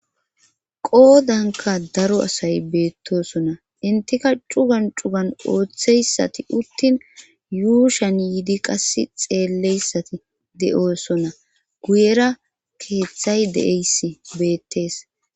qoodanka daro asay beettosonna intika cugan cugan ooththeyssati uttin yuushan yiidi qass xeelleyssati de7oosonna guyera keeththay de7eyss beettees